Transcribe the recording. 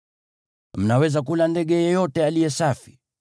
Mnaweza kula ndege yeyote aliye safi.